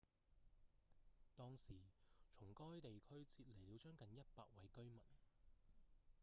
當時從該地區撤離了將近100位居民